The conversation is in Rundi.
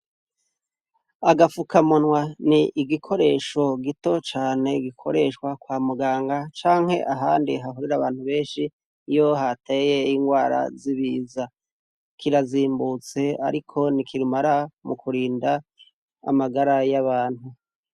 Agafukamunwa ni igikoresho gito gikoreshwa kwa Muganga canke ahandi hahurira abantu benshi iyo hateye ingwara z'ibiza. Kirazimbutse ariko ni kirumara mu kurinda amagara y'abantu.